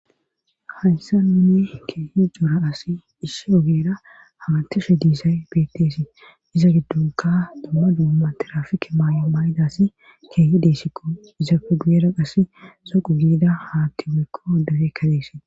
hayssa nuni keehi jora asi ishshi ogeera hamatishe diisay beetteesi iza giddunka dumma duumma tirafike maayo may7idassi keehi deessikko izafe giyera qas soqu giida haatti beekko degekkadeesi